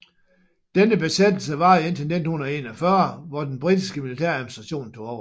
Denne besættelse varede indtil 1941 hvor den britiske militære administration tog over